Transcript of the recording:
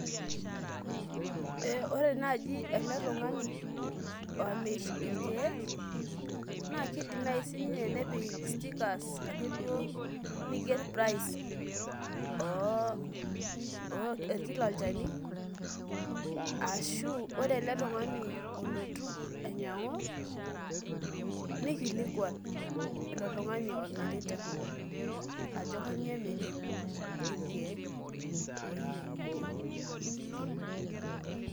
ee ore naaji ele tungani omir irkeek naa kidim naaji ninye nepik stickers neiger price e kila olchani, aashu ore ele tungani olotu ainyiangu, nikilikuan ilo tungani omirita ajo kainyioo emiri irkeek ooyieu ninyiang'u.